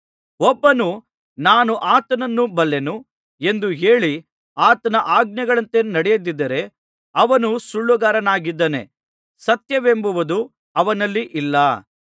ಒಬ್ಬನು ನಾನು ಆತನನ್ನು ಬಲ್ಲೆನು ಎಂದು ಹೇಳಿ ಆತನ ಆಜ್ಞೆಗಳಂತೆ ನಡೆಯದಿದ್ದರೆ ಅವನು ಸುಳ್ಳುಗಾರನಾಗಿದ್ದಾನೆ ಸತ್ಯವೆಂಬುದು ಅವನಲ್ಲಿ ಇಲ್ಲ